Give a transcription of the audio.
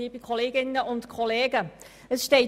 Ich gebe der Antragstellerin das Wort.